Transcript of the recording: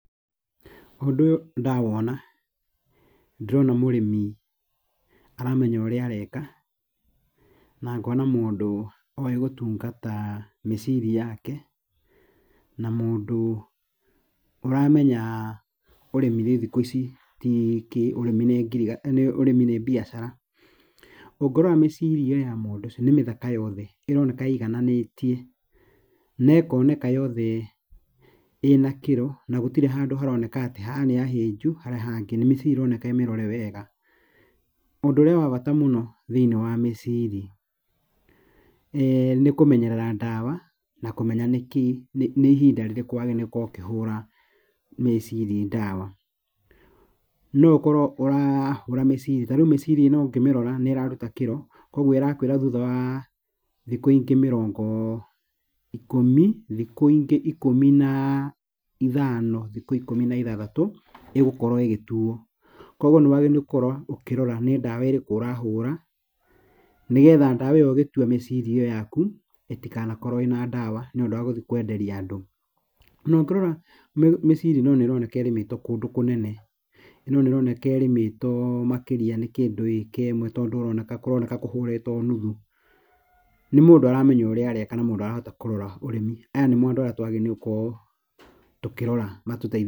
Ũndũ ũyũ ndawona ndĩrona mũrĩmi aramenya ũrĩa areka na ngona mũndũ oĩ gũtungata mĩciri yake, na mũndũ ũramenya ũrĩmi rĩ thikũ ici ti kĩ ũrĩmi nĩ ngiriga nĩ ũrĩmi nĩ mbiacara. Ũngĩrora mĩciri ĩyo ya mũndũ ũcio, nĩmĩthaka yothe. Ĩroneka ĩigananĩtie, na ĩkoneka yothe ĩna kĩro na gũtirĩ handũ haroneka atĩ haha nĩhahĩnju harĩa hangĩ, nĩ mĩciri ĩroneka ĩmĩrore wega. Ũndũ ũrĩa wa bata mũndo thĩiniĩ wa mĩciri nĩ kũmenyerera ndawa na kũmenya nĩkĩĩ nĩ ihinda rĩrĩkũ wagĩrĩirwo nĩ gũkorwo ũkĩhũra mĩciri ndawa. No ũkorwo ũrahũra mĩciri ta rĩu mĩciri ĩno ũngĩmĩrora nĩĩraruta kĩro ũguo ĩrakwĩra thutha wa thikũ ingĩ mĩrongo ikũmi, thikũ ingĩ ikũmi na ithano thikũ ikũmi na ithathatũ, ĩgũkorwo ĩgĩtuo, kuoguo nĩwagĩrĩirwo gũkorwo ũkĩrora nĩ ndawa ĩrĩkũ ũrahũra nĩgetha ndawa ĩyo ũgĩtua mĩciri ĩyo yaku ĩtikanakorwo ĩna ndawa nĩũdũ wa gũthiĩ kwenderia andũ. Na, ũngĩrora mĩciri ĩno nĩroneka ĩrĩmĩtwio kũndũ kũnene, ĩno nĩroneka ĩrĩmĩtwo makĩria nĩ kĩndũ ĩka ĩmwe tondũ ĩroneka kũroneka kũhũrĩtwo nuthu. Nĩ mũndũ aramenya ũrĩa areka na mũndũ arahota kũrora ũrĩmi. Aya nĩmo andũ arĩa twagĩrĩirwo nĩ gũkorwo tũkĩrora matũteithie.